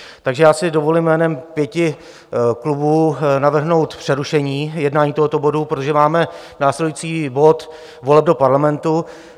Takže já si dovolím jménem pěti klubů navrhnout přerušení jednání tohoto bodu, protože máme následující bod voleb do Parlamentu.